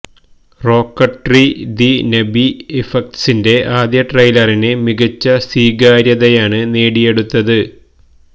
Rocketry the Nambi ഇഫട്ക്സിന്റെ ആദ്യ ട്രെയിലറിന് മികച്ച സ്വീകാര്യതയാണ് നേടിയെടുത്തത്